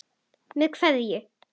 Með kveðju.